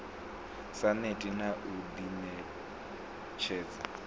sa neti na u ḓiṋetshedza